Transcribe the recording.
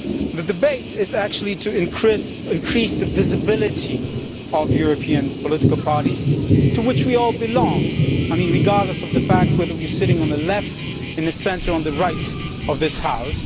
The debate is actually to increase the visibility of European political parties, to which we all belong regardless of whether we are sitting on the Left, in the Centre or on the Right of this House.